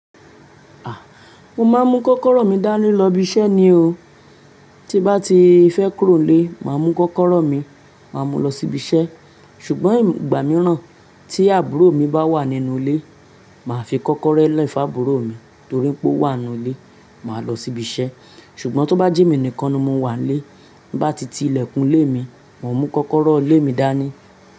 A! Mo máa ń mú kọ́kọ́rọ́ mi dání lọ ibi iṣẹ́ ni o. Tí bá ti fẹ́ kúrò nílé, màá mú kọ́kọ́rọ́ mi, màá mú lọ sí ibi iṣẹ́. Ṣùgbọ́n ìgbà mìíràn tí àbúrò mi bá wà nínú ilé, màá fi kọ́kọ́rọ́ lẹ fun àbúrò mi torí pé ó wà nínú ilé, màá lọ sí ibi iṣẹ́. Ṣùgbọ́n tó bá jẹ́ mi nìkan ni mo wà n lé, n bá ti ti ilẹ̀kùn ilé mi, màá mú kọ́kọ́rọ́ ilé mi dání.